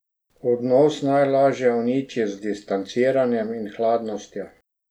Odnos najlažje uniči z distanciranjem in hladnostjo.